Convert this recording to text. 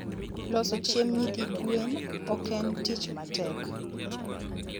loso chiemb nyithi gwen oken tich matek